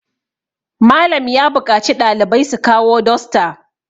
Malam ya buƙaci ɗalibai su kawo dosta